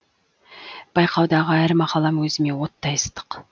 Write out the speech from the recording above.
байқаудағы әр мақалам өзіме оттай ыстық